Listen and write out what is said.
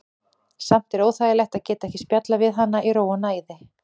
Samt er óþægilegt að geta ekki spjallað við hana í ró og næði.